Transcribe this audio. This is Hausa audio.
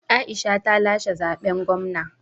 Aisha ta lashe zaɓen gwamna